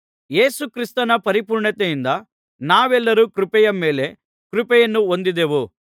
ಯೇಸು ಕ್ರಿಸ್ತನ ಪರಿಪೂರ್ಣತೆಯಿಂದ ನಾವೆಲ್ಲರೂ ಕೃಪೆಯ ಮೇಲೆ ಕೃಪೆಯನ್ನು ಹೊಂದಿದೆವು